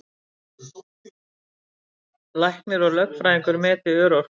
Læknir og lögfræðingur meti örorku